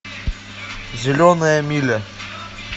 зеленая миля